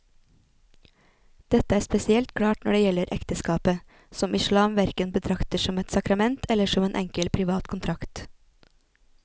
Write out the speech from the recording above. Dette er spesielt klart når det gjelder ekteskapet, som islam hverken betrakter som et sakrament eller som en enkel privat kontrakt.